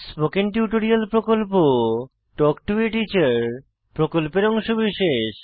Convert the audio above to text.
spoken tutorial প্রকল্প talk to a teacher প্রকল্পের অংশবিশেষ